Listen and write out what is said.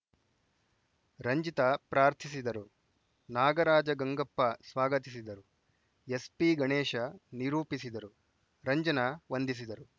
ರಂಜಿತಾ ಪ್ರಾರ್ಥಿಸಿದರು ನಾಗರಾಜ ಗಂಗಪ್ಳ ಸ್ವಾಗತಿಸಿದರು ಎಸ್‌ಬಿ ಗಣೇಶ ನಿರೂಪಿಸಿದರು ರಂಜನಾ ವಂದಿಸಿದರು